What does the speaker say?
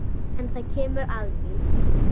En það kemur að því.